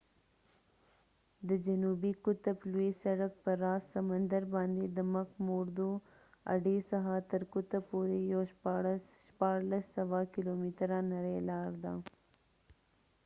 د جنوبي قطب لوی سرک په راس سمندرباندې د مک موردو اډې څخه تر قطب پورې یوه شپاړلس سوه کیلومتره نرۍ لار ده